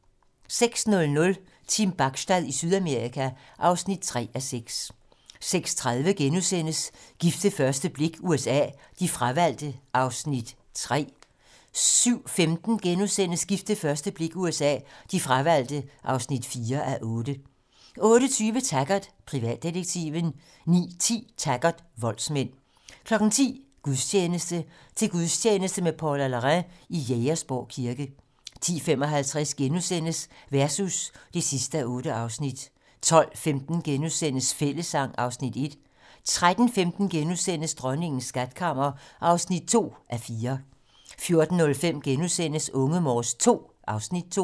06:00: Team Bachstad i Sydamerika (3:6) 06:30: Gift ved første blik USA: De fravalgte (3:8)* 07:15: Gift ved første blik USA: De fravalgte (4:8)* 08:20: Taggart: Privatdetektiven 09:10: Taggart: Voldsmænd 10:00: Gudstjeneste: Til gudstjeneste med Paula Larrain i Jægersborg Kirke 10:55: Versus (8:8)* 12:15: Fællessang (Afs. 1)* 13:15: Dronningens skatkammer (2:4)* 14:05: Unge Morse II (Afs. 2)*